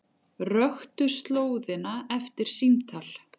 Röktu slóðina eftir símtal